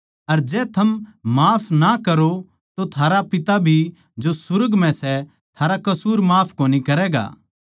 अर जै थम माफ ना करो तो थारा पिता भी जो सुर्ग म्ह सै थारा कसूर माफ कोनी करैगा